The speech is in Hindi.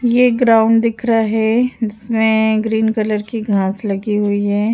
ये ग्राउंड दिख रहा है जिसमें ग्रीन कलर की घास लगी हुई है।